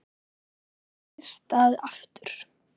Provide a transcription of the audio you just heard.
Svo gat syrt að aftur.